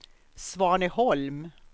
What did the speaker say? Svaneholm